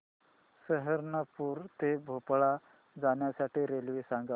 सहारनपुर ते भोपाळ जाण्यासाठी रेल्वे सांग